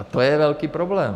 A to je velký problém.